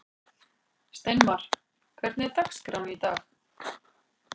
Steinmar, hvernig er dagskráin í dag?